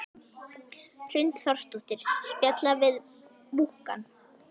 Hrund Þórsdóttir: Spjalla við múkkann?